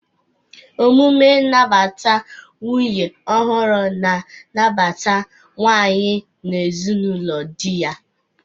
Emume nnabata nwunye ọhụrụ na-anabata nwanyị n'ezinaụlọ di ya.